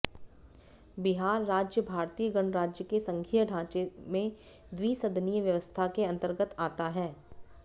बिहार राज्य भारतीय गणराज्य के संघीय ढाँचे में द्विसदनीय व्यवस्था के अन्तर्गत आता है